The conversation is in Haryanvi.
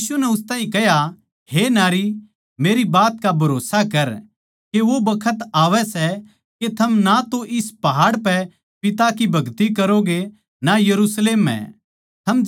यीशु नै उस ताहीं कह्या हे नारी मेरी बात का भरोस्सा करके वो बखत आवै सै के थम ना तै इस पहाड़ पै पिता की भगति करोगे ना यरुशलेम म्ह